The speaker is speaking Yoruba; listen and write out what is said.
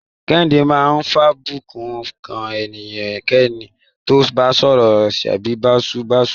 Kehinde máa ń fàbùkùn kan ẹnikẹ́ni tó bá sọ̀rọ̀ sẹ́ni báṣubàṣu.